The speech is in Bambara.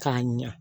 K'a ɲa